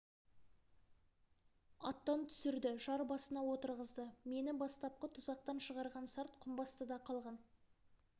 аттан түсірді жар басына отырғызды мені бастапқы тұзақтан шығарған сарт құмбастыда қалған